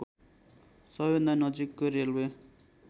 सबैभन्दा नजिकको रेलवे